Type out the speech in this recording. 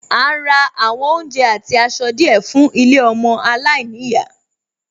À ń ra àwọn oúnjẹ àti aṣọ díẹ̀ fún ilé ọmọ aláìníyàá